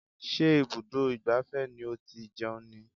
Ṣé ibùdó ìgbafẹ́ ni ó ti jẹun ni?